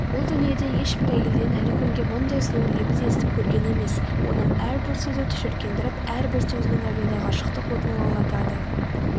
бұл дүниеде ешбір әйелден әлі күнге мұндай сұлу лебіз естіп көрген емес оның әрбір сөзі түшіркендіріп әрбір сөзінің әуені ғашықтық отын лаулатады